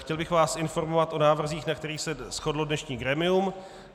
Chtěl bych vás informovat o návrzích, na kterých se shodlo dnešní grémium.